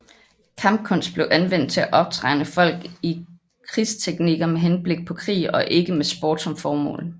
Kampkunst blev anvendt til at optræne folk i krigsteknikker med henblik på krig og ikke med sport som formål